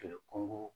Kɛlɛ ko